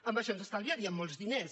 amb això ens estalviaríem molts diners